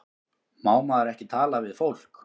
Má maður ekki tala við fólk?